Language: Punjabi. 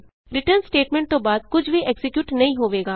ਰਿਟਰਨ ਸਟੇਟਮੈਂਟ ਤੋਂ ਬਾਅਦ ਕੁਝ ਵੀ ਐਕਜ਼ੀਕਿਯੂਟ ਨਹੀਂ ਹੋਵੇਗਾ